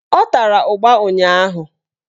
Ọ tara ụgba ụnyaahụ